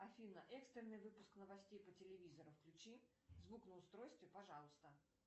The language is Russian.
афина экстренный выпуск новостей по телевизору включи звук на устройстве пожалуйста